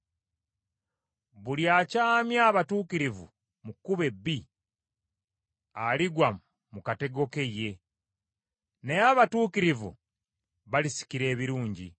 Buli akyamya abatuukirivu mu kkubo ebbi, aligwa mu katego ke ye, naye abatuukirivu balisikira ebirungi.